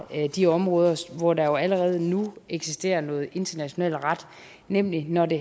de områder hvor der allerede nu eksisterer noget international ret nemlig når det